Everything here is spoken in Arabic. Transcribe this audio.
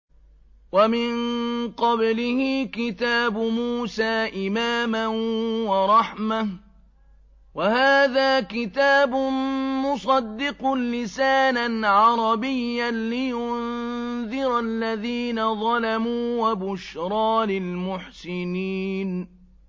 وَمِن قَبْلِهِ كِتَابُ مُوسَىٰ إِمَامًا وَرَحْمَةً ۚ وَهَٰذَا كِتَابٌ مُّصَدِّقٌ لِّسَانًا عَرَبِيًّا لِّيُنذِرَ الَّذِينَ ظَلَمُوا وَبُشْرَىٰ لِلْمُحْسِنِينَ